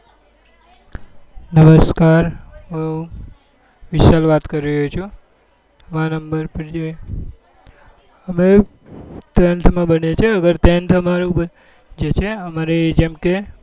નમસ્કાર હું વિશાલ વાત કરી રહ્યો છું અમે tenth ભણીએ છીએ હવે tenth હવે અમારું પતિ ગયું છે જેમ કે